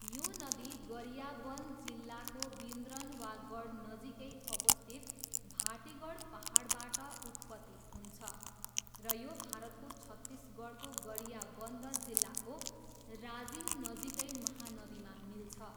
यो नदी गरियाबन्द जिल्लाको बिन्द्रनवागढनजिकै अवस्थित भाटिगढ पाहाडबाट उत्पत्ति हुन्छ र यो भारतको छत्तिसगढको गरियाबन्द जिल्लाको राजिमनजिकै महानदीमा मिल्छ।